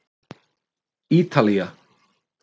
Ítalía